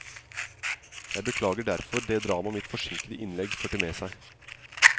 Jeg beklager derfor det drama mitt forsinkede innlegg førte med seg.